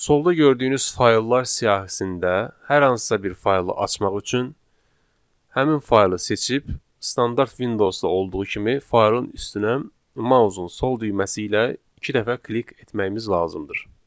Solda gördüyünüz fayllar siyahisində hər hansısa bir faylı açmaq üçün həmin faylı seçib standart Windowsda olduğu kimi faylın üstünə mausun sol düyməsi ilə iki dəfə klik etməyimiz lazımdır.